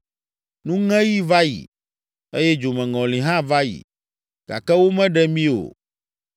“Nuŋeɣi va yi, eye dzomeŋɔli hã va yi, gake womeɖe mi o.”